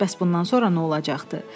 Bəs bundan sonra nə olacaqdı?